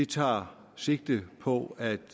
tager sigte på at